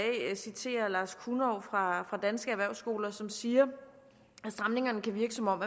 citere lars kunov fra danske erhvervsskoler som siger stramningerne kan virke som om